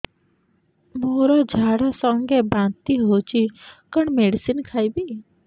ମୋର ଝାଡା ସଂଗେ ବାନ୍ତି ହଉଚି କଣ ମେଡିସିନ ଖାଇବି